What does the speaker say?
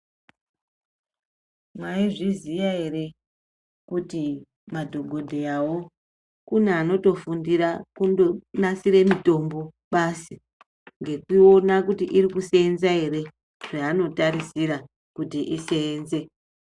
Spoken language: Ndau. Mai zviziya ere kuti madhokodheya wo kune anoto fundira kundo nasire mitombo basi ngekuona kuti iri kusenza ere zvaano tarisira kuti isenze.